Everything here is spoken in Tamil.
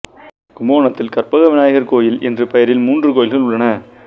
கும்பகோணத்தில் கற்பக விநாயகர் கோயில் என்ற பெயரில் மூன்று கோயில்கள் உள்ளன